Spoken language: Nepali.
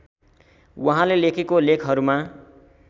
वहाँले लेखेको लेखहरूमा